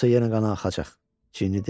Yoxsa yenə qan axacaq," Cini dedi.